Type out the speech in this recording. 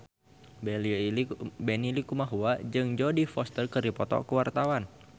Benny Likumahua jeung Jodie Foster keur dipoto ku wartawan